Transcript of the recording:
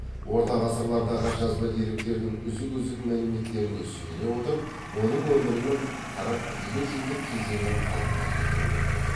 орта ғасырлардағы жазба деректердің үзік үзік мәліметтеріне сүйене отырып оның өмірінің қырық елу жылдық кезеңін қалпына келтіруге болады